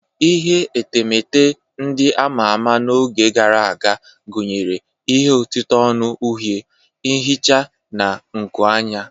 Ihe etemeete ndị ama ama n'oge gara aga gụnyere ihe otite onu uhie, ihicha, na nkuanya.